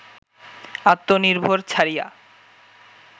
আত্মনির্ভর ছাড়িয়া